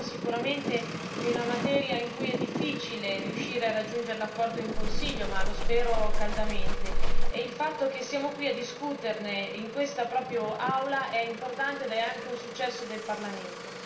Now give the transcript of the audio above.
Si tratta sicuramente di una materia in cui è difficile riuscire a raggiungere l'accordo in Consiglio ma lo spero caldamente. Il fatto che ci troviamo a discuterne in quest'Aula è importante, oltre che essere un successo del Parlamento.